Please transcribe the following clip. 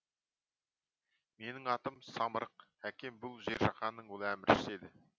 менің атым самырық әкем бұл жер жаһанның ұлы әміршісі еді